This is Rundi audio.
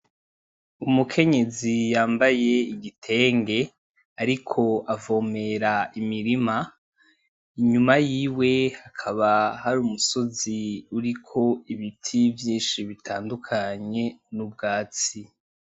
Umukenyezi yambaye igitenge ariko avomera imirima, inyuma yiwe hakaba hari umusozi uriko ibiti vyinshi bitandukanye nubwatsi.